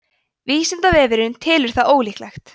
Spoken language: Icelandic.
vísindavefurinn telur það ólíklegt